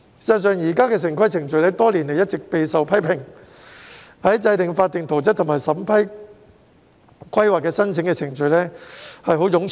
事實上，現時的城市規劃程序多年來一直備受批評，制訂法定圖則和審批規劃申請的程序十分冗長。